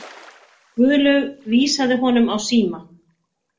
Guðlaug vísaði honum á síma.